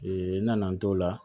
nana n t'o la